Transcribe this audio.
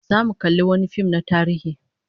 Zamu kalli wani fim na tarihi